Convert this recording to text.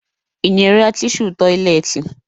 Ị nyere ya tishu tọyịleetị?